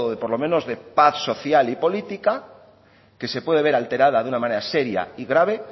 por lo menos de paz social y política que se puede ver alterada de una manera seria y grave